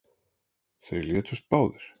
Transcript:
Þeir létust báðir